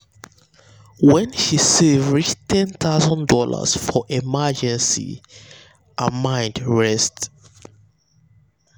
when she when she save reach one thousand dollars0 for emergency her mind rest